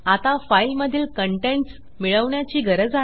आता फाईलमधील कंटेंट्स मिळवण्याची गरज आहे